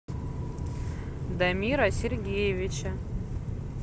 дамира сергеевича